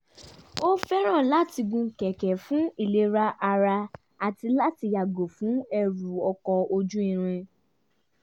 ó fẹ́ràn láti gun kẹ̀kẹ́ fún ìlera ara àti láti yàgò fún ẹrù ọkọ̀ ojú irin